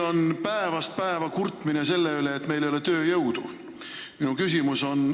Meil päevast päeva kurdetakse selle üle, et ei ole tööjõudu.